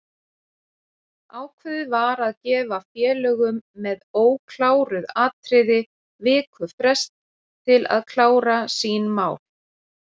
Ákveðið var að gefa félögum með ókláruð atriði viku frest til að klára sín mál.